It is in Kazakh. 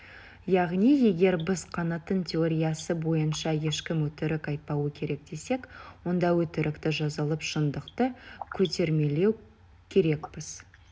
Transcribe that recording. яғни егер біз канттың теориясы бойынша ешкім өтірік айтпауы керек десек онда өтірікті жазалап шындықты көтермелеу керекпіз